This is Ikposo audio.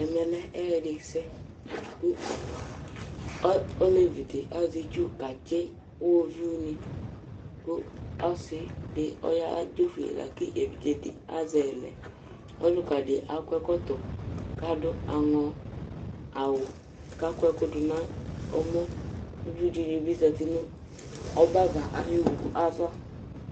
Ɛmɛ lɛ ɛyɛdɩsɛ kʋ ɔ olevi dɩ azɛ itsu katsɩ iɣoviunɩ kʋ ɔsɩ dɩ ɔya dzofue la kʋ evidze dɩ azɛ yɩ lɛ Ɔlʋka dɩ akɔ ɛkɔtɔ kʋ adʋ aŋɔ awʋ kʋ akɔ ɛkʋ dʋ nʋ ɔmɔ Uvi dɩnɩ bɩ zati nʋ ɔbɛava ayʋ owu ava